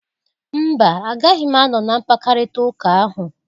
Mba! Agaghị m anọ na mpkarịta ụka ahụ.